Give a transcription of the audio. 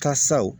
Ka saw